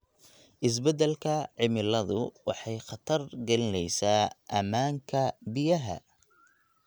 Isbeddelka cimiladu waxay khatar gelinaysaa ammaanka biyaha.